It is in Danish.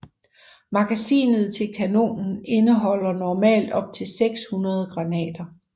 Magasinet til kanonen indeholder normalt op til 600 granater